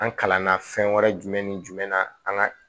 An kalanna fɛn wɛrɛ jumɛn ni jumɛn na an ga